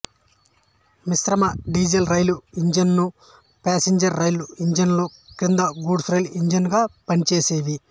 మిశ్రమ డీజిల్ రైలు ఇంజన్లు ప్యాసంజర్ల రైలు ఇంజన్ల క్రింద గూడ్స్ రైలు ఇంజన్ గా పనిచేసేవి